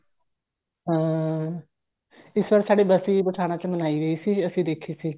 ਹਾਂ ਇਸ ਬਾਰੀ ਸਾਡੇ ਬਸੀ ਪਠਾਣਾ ਚ ਮਨਾਈ ਗਈ ਸੀ ਅਸੀਂ ਦੇਖੀ ਸੀ